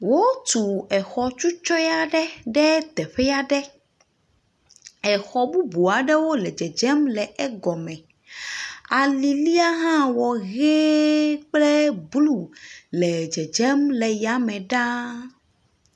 Wotu exɔ tsutsɔe aɖe ɖe teƒe aɖe. Exɔ bubuwo aɖewo le dzedzem le egɔ me. Alilia hã wɔ ʋɛ kple blu le dzedzem le ya me ɖaa.